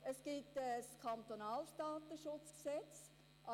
Es gibt ein kantonales Datenschutzgesetz (KDSG).